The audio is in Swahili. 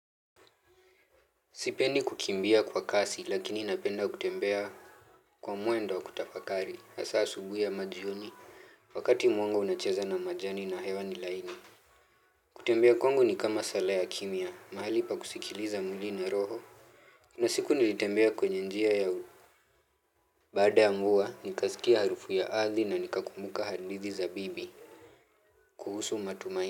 Sipendi kukimbia kwa kasi lakini napenda kutembea kwa mwendo wa kutafakari, hasa asubuhi ama jioni, wakati mwangu unacheza na majani na hewa ni laini. Kutembea kwangu ni kama sala ya kimya, mahali pa kusikiliza mwili na roho. Kuna siku nilitembea kwenye njia ya baada ya mvua, nikasikia harufu ya ardhi na nikakumbuka hadithi za bibi kuhusu matumaini.